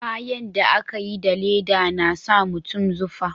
Kayan da a ka yi da leda na sa mutum zufa